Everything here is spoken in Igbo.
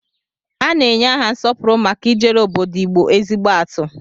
A na-enye aha nsọpụrụ maka ijere obodo Igbo ezigbo atụ.